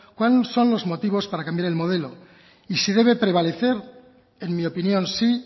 cuáles son los motivos para cambiar el modelo y si debe prevalecer en mi opinión sí